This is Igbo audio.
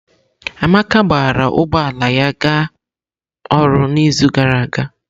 Amaka gbara ụgbọ ala ya ga ọrụ n'izu gara aga?